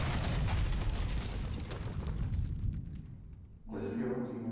anos. Coisa que eu não tinha.